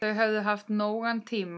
Þau höfðu haft nógan tíma.